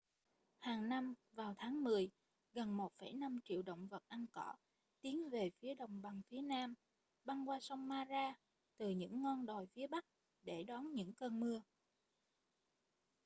hàng năm vào tháng mười gần 1,5 triệu động vật ăn cỏ tiến về phía đồng bằng phía nam băng qua sông mara từ những ngon đồi phía bắc để đón những cơn mưa